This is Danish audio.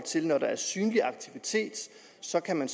sted når der er synlig aktivitet så kan man